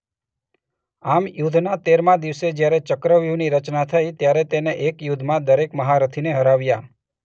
આમ યુદ્ધના તેરમા દિવસે જ્યારે ચક્રવ્યૂહની રચના થઈ ત્યારે તેને એક યુદ્ધમાં દરેક મહારથી ને હરાવ્યા.